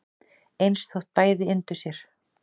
eins þótt bæði yndu sér